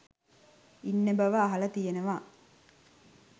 ඉන්න බව අහලා තියෙනවා.